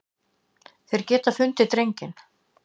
Þeir geta fundið drenginn.